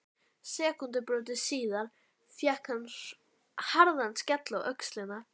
Sekúndubroti síðar fékk hann harðan skell á öxlina.